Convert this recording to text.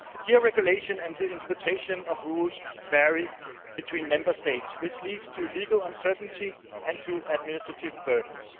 Here regulation and interpretation of rules vary between Member States, which leads to legal uncertainty and to administrative burdens.